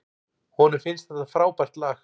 Honum finnst þetta frábært lag.